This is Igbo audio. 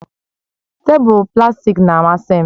Tebụl plastik na-amasị m